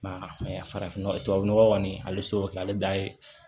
Ma farafinnɔgɔ kɔni ale seko kɛ ale da ye